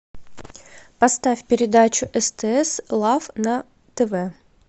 поставь передачу стс лав на тв